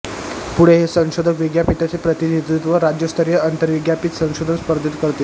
पुढे हे संशोधक विद्यापीठाचे प्रतिनिधित्व राज्यस्तरीय अंतरविद्यापीठ संशोधन स्पर्धेत करतील